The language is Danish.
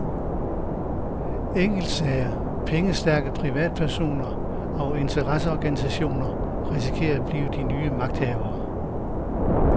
Enkeltsager, pengestærke privatpersoner og interesseorganisationer risikerer at blive de nye magthavere.